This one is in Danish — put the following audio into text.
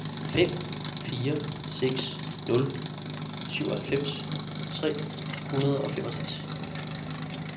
fem fire seks nul syvoghalvfems tre hundrede og femogtres